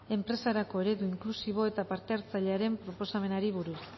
enpresarako eredu inklusibo eta parte hartzailearen proposamenari buruz